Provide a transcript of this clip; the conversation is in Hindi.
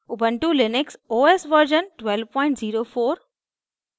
ubuntu Linux os version 1204